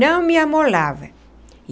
Não me amolava.